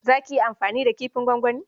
Za ki iya amfani da kifin gwangwani?